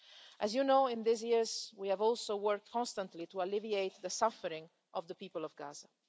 As you know, in recent years we have also worked constantly to alleviate the suffering of the people of Gaza.